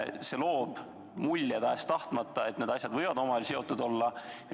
See loob tahes-tahtmata mulje, et need asjad võivad omavahel seotud olla.